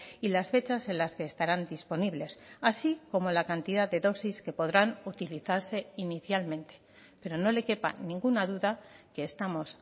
y las fechas en las que estarán disponibles así como la cantidad de dosis que podrán utilizarse inicialmente pero no le quepa ninguna duda que estamos